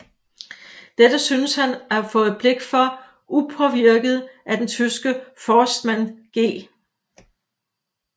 Dette synes han at have fået blik for upåvirket af den tyske forstmand G